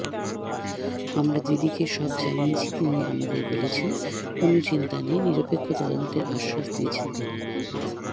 আমরা দিদিকে সব জানিয়েছি তিনি আমাদের বলেছেন কোনও চিন্তা নেই নিরপেক্ষ তদন্তের আশ্বাস দিয়েছেন তিনি